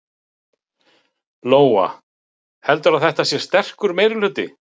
Lóa: Heldurðu að þetta sé sterkur meirihluti?